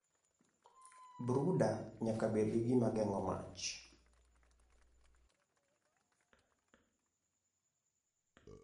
Brooder nyaka bed gi gima geng'o mach.